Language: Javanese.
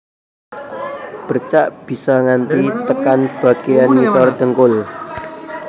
Bercak bisa nganti tekan bagéyan ngisor dhengkul